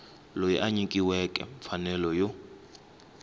loyi a nyikiweke mfanelo yo